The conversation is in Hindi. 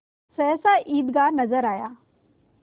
सहसा ईदगाह नजर आया